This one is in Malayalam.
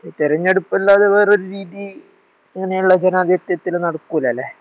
തെരഞ്ഞെടുപ്പുള്ളൊരു വേറൊരുരീതി അങ്ങനെയുള്ള ജനാതിപത്യത്തില് നടക്കൂലല്ലേ